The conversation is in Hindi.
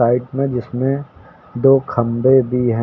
साइड में जिसमे दो खंबे भी हैं।